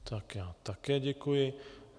Tak já také děkuji.